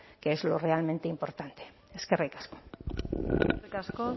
que es lo realmente importante eskerrik asko eskerrik asko